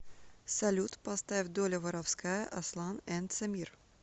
салют поставь доля воровская аслан энд самир